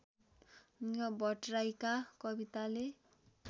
भट्टराईका कविताले